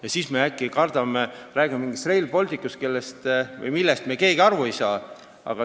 Ja siis me äkki räägime mingist Rail Balticust, millest me keegi aru ei saa.